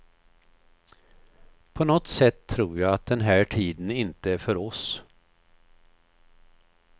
På något sätt tror jag att den här tiden inte är för oss.